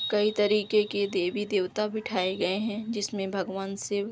कई तरीके की देवी-देवता बिठाए गए हैं जिस में भगवान शिव --